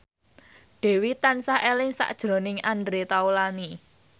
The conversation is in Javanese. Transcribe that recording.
Dewi tansah eling sakjroning Andre Taulany